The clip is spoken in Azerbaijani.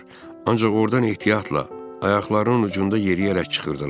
Ancaq ordan ehtiyatla, ayaqlarının ucunda yeriyərək çıxırdılar.